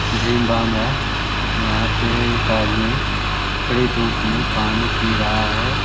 धीम बाम है यहाँ पे एक आदमी कड़ी धुप में पानी पी रहा है |